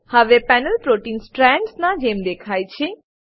હવે panel protein strands ના જેમ દેખાય છે